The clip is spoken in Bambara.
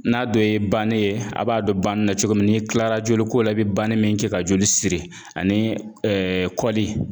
N'a dɔ ye bane ye a' b'a dɔn ban na cogo min n'i kilara joliko la i bɛ bani min kɛ ka joli siri ani kɔli